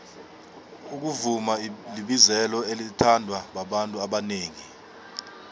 ukuvuma libizelo elithandwa babantu abanengi